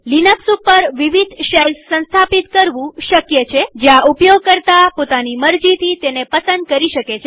Linux ઉપર વિવિધ shells સંસ્થાપિત કરવું શક્ય છેજ્યાં ઉપયોગકર્તા પોતાની મરજીથી તેને પસંદ કરી શકે